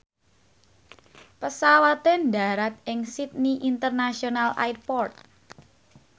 pesawate ndharat ing Sydney International Airport